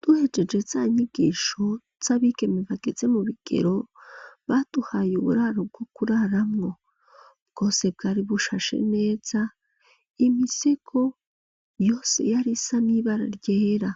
Duhejeje za nyigisho, z'abigeme, bageze mu bigero, baduhaye uburaro, bwo kuraramwo; bwose, bwari bushashe neza, imisego yose, yari isa n'ibara ryera,